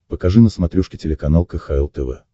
покажи на смотрешке телеканал кхл тв